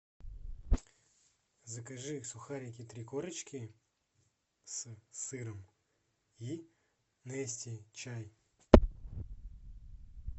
закажи сухарики три корочки с сыром и нести чай